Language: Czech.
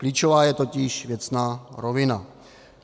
Klíčová je totiž věcná rovina.